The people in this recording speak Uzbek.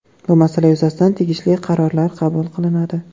Bu masala yuzasidan tegishli qarorlar qabul qilinadi.